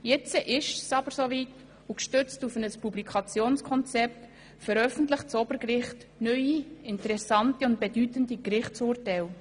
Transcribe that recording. Jetzt ist es aber so weit, und gestützt auf ein Publikationskonzept veröffentlicht das Obergericht neue, interessante und bedeutende Gerichtsurteile.